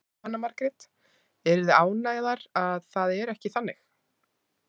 Jóhanna Margrét: Eruð þið ánægðar að það er ekki þannig?